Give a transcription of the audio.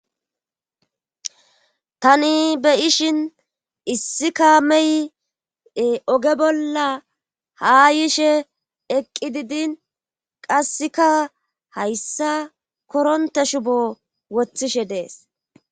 tani be ishin issika meye oge bolla haa yishe eqqi didin qasseka hayssa koronte shubo wothishe dees